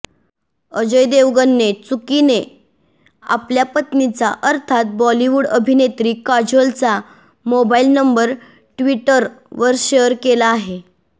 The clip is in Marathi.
अजय देवगणने चुकीने आपल्या पत्नीचा अर्थात बॉलिवूड अभिनेत्री काजोलचा मोबाईल नंबर ट्विटरवर शेअर केला आहे